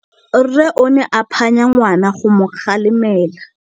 Rre o ne a phanya ngwana go mo galemela.